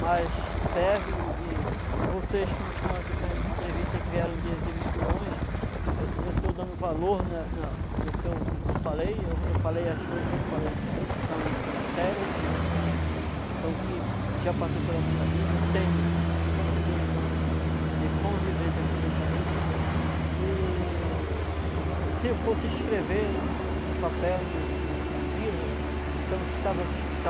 mas serve, e vocês que estão aqui fazendo essa entrevista, que vieram de, de muito longe, eu estou dando valor na, na, no que eu falei, eu falei as coisas que eu falei são são sérias, são o que já passou pela minha vida, eu tenho cinquenta anos de convivência aqui nessa região, e se eu fosse escrever um papel num livro, então estava tudo